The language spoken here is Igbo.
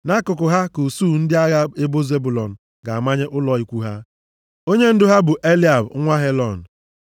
Nʼakụkụ ha ka usuu ndị agha ebo Zebụlọn ga-amanye ụlọ ikwu ha. Onyendu ha bụ Eliab nwa Helọn.